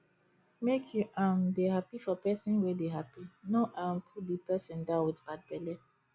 make you um dey happy for person wey dey happy no um pull di person down with bad belle